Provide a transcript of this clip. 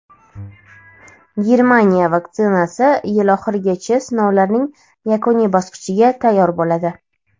Germaniya vaksinasi yil oxirigacha sinovlarning yakuniy bosqichiga tayyor bo‘ladi.